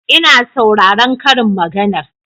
Ina sauraron karin maganar